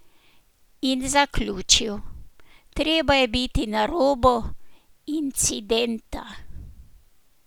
In zaključil: "Treba je biti na robu incidenta.